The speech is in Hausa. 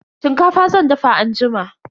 Shinkafa zan dafa anjima.